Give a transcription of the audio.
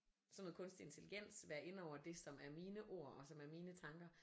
Sådan noget kunstig intelligens være inde over det som er mine ord og som er mine tanker